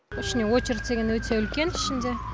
ішіне очередь деген өте үлкен ішінде